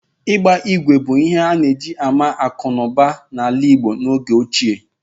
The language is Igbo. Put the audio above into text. Ịgba ígwè bụ ihe e ji ama akụ̀ na ụba n'ala Igbo n'oge ochie.